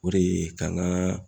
O de ye ka n ka